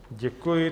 Děkuji.